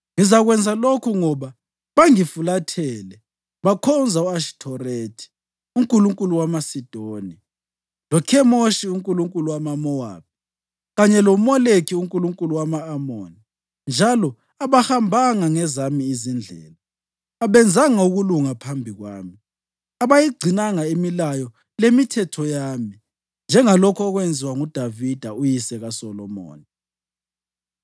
Ngizakwenza lokhu ngoba bangifulathele bakhonza u-Ashithorethi unkulunkulukazi wamaSidoni, loKhemoshi unkulunkulu wamaMowabi, kanye loMoleki unkulunkulu wama-Amoni, njalo abahambanga ngezami izindlela, abenzanga ukulunga phambi kwami, abayigcinanga imilayo lemithetho yami njengalokhu okwenziwa nguDavida uyise kaSolomoni.